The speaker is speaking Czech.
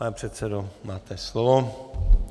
Pane předsedo, máte slovo.